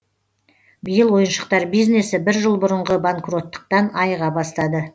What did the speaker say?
биыл ойыншықтар бизнесі бір жыл бұрынғы банкроттықтан айыға бастады